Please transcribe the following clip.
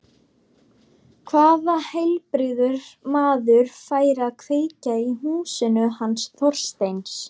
Hvaða heilbrigður maður færi að kveikja í húsinu hans Þorsteins?